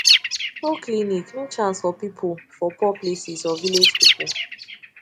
no clinic no chance for people for poor places or village people